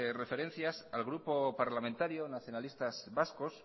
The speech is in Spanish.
referencias al grupo parlamentario nacionalistas vascos